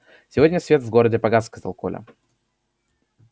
сегодня свет в городе погас сказал коля